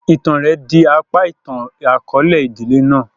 Ìtan rẹ di apa itan-akọọlẹ idile náà.